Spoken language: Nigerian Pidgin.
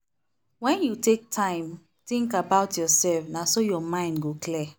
when you take time think about yourself na so your mind go clear.